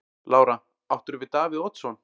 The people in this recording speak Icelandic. Lára: Áttirðu við Davíð Oddsson?